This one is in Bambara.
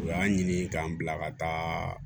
U y'a ɲini k'an bila ka taa